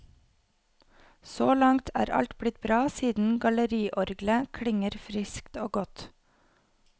Så langt er alt blitt bra siden galleriorglet klinger friskt og godt.